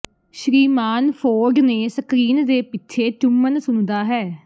ਸ਼੍ਰੀਮਾਨ Ford ਨੇ screen ਦੇ ਪਿੱਛੇ ਚੁੰਮਣ ਸੁਣਦਾ ਹੈ